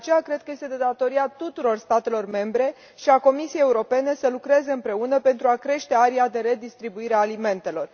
De aceea cred că este de datoria tuturor statelor membre și a Comisiei Europene să lucreze împreună pentru a crește aria de redistribuire a alimentelor.